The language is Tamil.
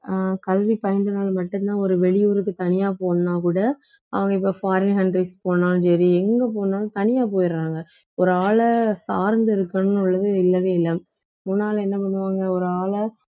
அஹ் கல்வி பயின்றனால் மட்டும்தான் ஒரு வெளியூருக்கு தனியா போகணும்னா கூட அவங்க இப்ப foreign countries போனாலும் சரி எங்க போனாலும் தனியா போயிடுறாங்க ஒரு ஆள சார்ந்து இருக்கணும் இல்லவே இல்ல முன்னால என்ன பண்ணுவாங்க ஒரு ஆள